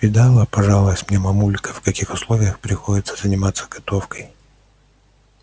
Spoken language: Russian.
видала пожаловалась мне мамулька в каких условиях приходится заниматься готовкой